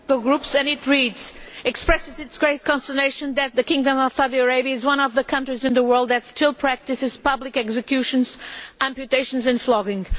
groups and it reads Expresses its grave consternation that the Kingdom of Saudi Arabia is one of the countries in the world that still practices public executions, amputations and flogging.